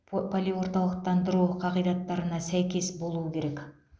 полиорталықтандыру қағидаттарына сәйкес болуы керек